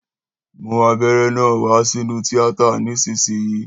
Mú abéré náà wá sínú tiata nísìsiyìí